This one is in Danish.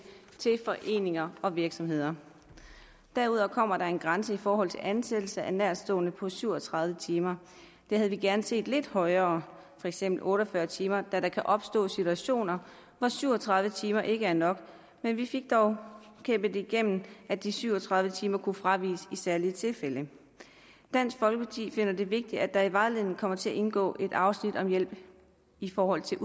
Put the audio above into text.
til foreninger og virksomheder derudover kommer der en grænse i forhold til ansættelse af nærtstående på syv og tredive timer det havde vi gerne set lidt højere for eksempel otte og fyrre timer da der kan opstå situationer hvor syv og tredive timer ikke er nok men vi fik dog kæmpet igennem at de syv og tredive timer kunne fraviges i særlige tilfælde dansk folkeparti finder det vigtigt at der i vejledningen kommer til at indgå et afsnit om hjælp i forhold til